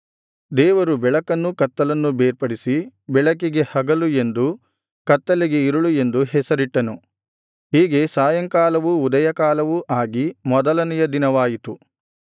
ದೇವರು ಬೆಳಕನ್ನೂ ಕತ್ತಲನ್ನೂ ಬೇರ್ಪಡಿಸಿ ಬೆಳಕಿಗೆ ಹಗಲು ಎಂದೂ ಕತ್ತಲೆಗೆ ಇರುಳು ಎಂದೂ ಹೆಸರಿಟ್ಟನು ಹೀಗೆ ಸಾಯಂಕಾಲವೂ ಉದಯಕಾಲವೂ ಆಗಿ ಮೊದಲನೆಯ ದಿನವಾಯಿತು